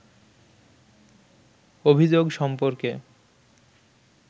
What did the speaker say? অভিযোগ সম্পর্কে